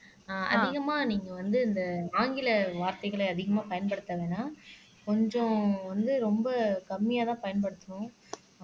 அதிகமா நீங்க வந்து இந்த ஆங்கில வார்த்தைகள அதிகமா பயன்படுத்த வேணாம் கொஞ்சம் வந்து ரொம்ப கம்மியாதான் பயன்படுத்தணும்